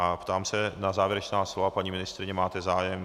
A ptám se na závěrečná slova - paní ministryně, máte zájem?